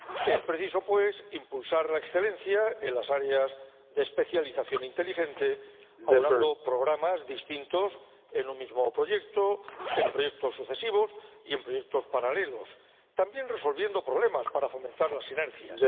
Es preciso, pues, impulsar la excelencia en las áreas de especialización inteligente, aunando programas distintos en un mismo proyecto, en proyectos sucesivos y en proyectos paralelos, también resolviendo problemas para fomentar las sinergias.